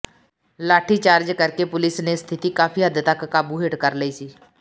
ਲਾਠੀਚਾਰਜ ਕਰ ਕੇ ਪੁਲੀਸ ਨੇ ਸਥਿਤੀ ਕਾਫ਼ੀ ਹੱਦ ਤੱਕ ਕਾਬੂ ਹੇਠ ਕਰ ਲਈ ਸੀ